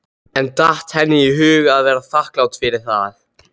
En datt henni í hug að vera þakklát fyrir það?